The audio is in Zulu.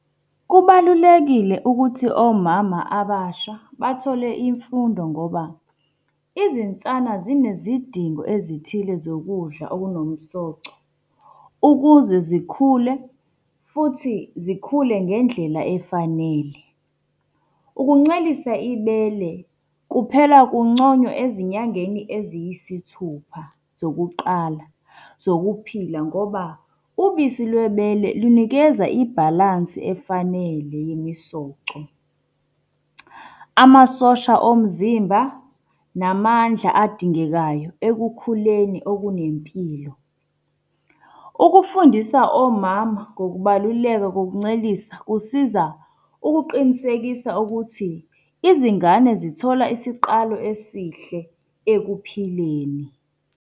Kubalulekile ukuthi omama abasha bathole imfundo ngoba, izinsana zinezidingo ezithile zokudla okunomsoco, ukuze zikhule, futhi zikhule ngendlela efanele. Ukuncelisa ibele kuphela kunconywa ezinyangeni eziyisithupha zokuqala zokuphila ngoba, ubisi lwebele lunikeza ibhalansi efanele yemisoco. Amasosha omzimba namandla adingekayo ekukhuleni okunempilo. Ukufundisa omama ngokubaluleka kokuncelisa kusiza ukuqinisekisa ukuthi, izingane zithola isiqalo esihle ekuphileni.